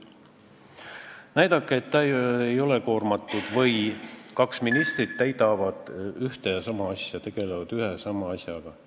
Näidake mulle, et mõni minister ei ole koormatud või et kaks ministrit täidavad ühte ja sama ülesannet, tegelevad ühe ja sama asjaga!